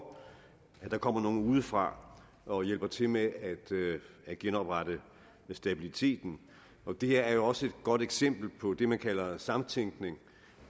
at der kommer nogen udefra og hjælper til med at genoprette stabiliteten det her er jo også et godt eksempel på det man kalder samtænkning